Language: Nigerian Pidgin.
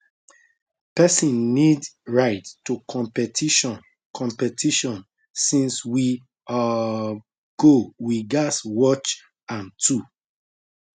pesin need ride to competition competition since we um go we gas watch am too